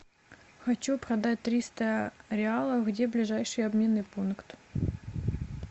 хочу продать триста реалов где ближайший обменный пункт